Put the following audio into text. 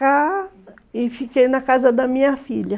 E fiquei na casa da minha filha